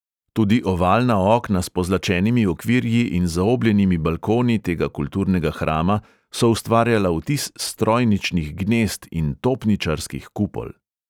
Tudi ovalna okna s pozlačenimi okvirji in zaobljenimi balkoni tega kulturnega hrama so ustvarjala vtis strojničnih gnezd in topničarskih kupol.